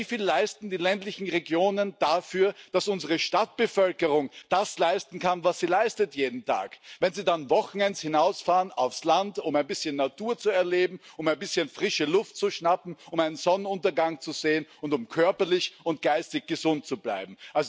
Aber wie wieviel leisten die ländlichen Regionen dafür, dass unsere Stadtbevölkerung das leisten kann, was sie jeden Tag leistet, wenn sie dann an Wochenenden aufs Land hinausfahren, um ein bisschen Natur zu erleben, um ein bisschen frische Luft zu schnappen, um einen Sonnenuntergang zu sehen und um körperlich und geistig gesund zu bleiben?